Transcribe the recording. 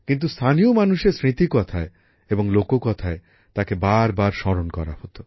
কিন্তু স্থানীয় মানুষের স্মৃতিকথায় এবং লোককথায় তাকে বারবার স্মরণ করা হত